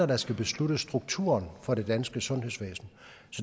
der skal beslutte strukturen for det danske sundhedsvæsen